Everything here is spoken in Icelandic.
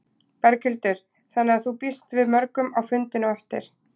Berghildur: Þannig að þú býst við mörgum á fundinn á eftir?